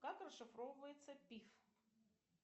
как расшифровывается пиф